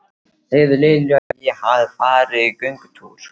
Segðu Lilju að ég hafi farið í göngutúr.